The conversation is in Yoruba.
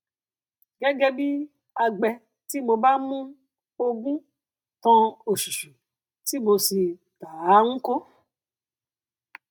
ogún tí wọn ṣàdédé jogún jẹ kí emma san gbèsè ilé rẹ padà kó sì gbádùn ìgbésí ayé láìní gbèsè